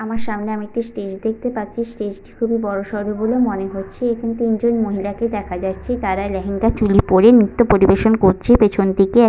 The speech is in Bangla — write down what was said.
আমার সামনে আমি একটি স্টেজ দেখতে পাচ্ছি। স্টেজ -টি খুবই বড়-সড় বলে মনে হচ্ছে। এখানে তিন জন মহিলাকে দেখা যাচ্ছে। তারা ল্যাহেঙ্গা চলী পরে নৃত্য পরিবেশন করছে। পিছন দিকে --